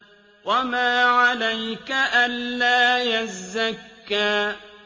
وَمَا عَلَيْكَ أَلَّا يَزَّكَّىٰ